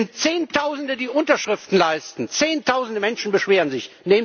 Es sind Zehntausende, die Unterschriften leisten, zehntausende Menschen beschweren sich.